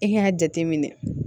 I k'a jate minɛ